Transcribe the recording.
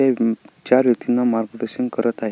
हे चार व्यक्तिना मार्गदर्शन करत आहे.